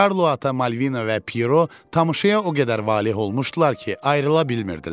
Karlo ata, Malvina və Pyero tamaşaya o qədər valeh olmuşdular ki, ayrıla bilmirdilər.